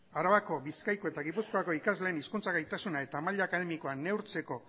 arabako bizkaiko eta gipuzkoako ikasleen hizkuntza gaitasuna eta maila akademikoa neurtzeko